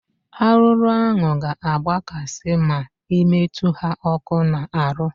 Arụrụ ahụ ga agba kasị ma ị metụ ha ọkụ na arụ